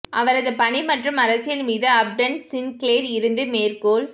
அவரது பணி மற்றும் அரசியல் மீது அப்டன் சின்க்ளேர் இருந்து மேற்கோள்